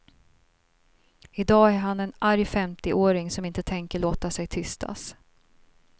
I dag är han en arg femtioåring som inte tänker låta sig tystas.